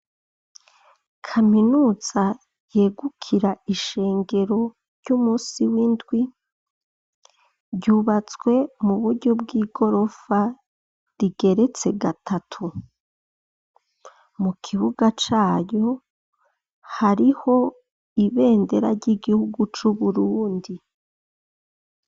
Kaminuza yegukira ishengero ry'umusi w'indwi , ryubatswe muburyo bw'igorofa rigeretse gatatu, mukibuga cayo hariho ibendera ry'igihugu c'Uburundi.